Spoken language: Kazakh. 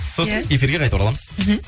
сосын эфирге қайта ораламыз мхм